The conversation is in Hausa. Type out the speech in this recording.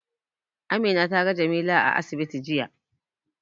Amina ta ga Jamila a asibiti jiya.